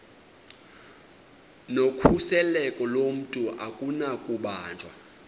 nokhuseleko lomntu akunakubanjwa